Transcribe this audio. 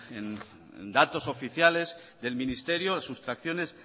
en datos oficiales del ministerio las sustracciones